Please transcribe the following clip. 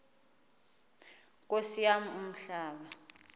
nkosi yam umhlaba